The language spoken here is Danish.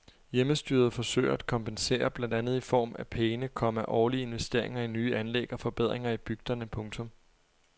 Hjemmestyret forsøger at kompensere blandt andet i form af pæne, komma årlige investeringer i nye anlæg og forbedringer i bygderne. punktum